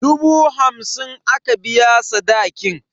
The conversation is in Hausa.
Dubu hamsin aka biya sadakin.